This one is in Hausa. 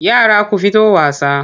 Yara ku fito wasa!